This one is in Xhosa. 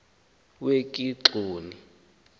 wekigxoni